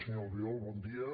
senyor albiol bon dia